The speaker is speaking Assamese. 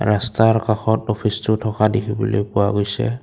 ৰাস্তাৰ কাষত অফিচটো থকা দেখিবলৈ পোৱা গৈছে।